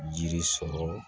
Jiri sɔrɔ